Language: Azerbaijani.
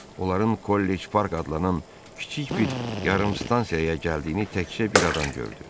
Onların kollec park adlanan kiçik bir yarım stansiyaya gəldiyini təkcə bir adam gördü.